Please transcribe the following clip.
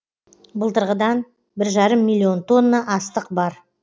былтырғыдан бір жарым миллион тонна астық бар